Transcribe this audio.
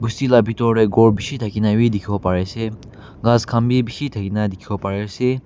Bosti la betor te khor beshe thake kena be tekhe bo bare ase khas khan be beshe thake kena dekhe bole bare ase.